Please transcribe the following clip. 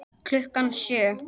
Klukkan sjö.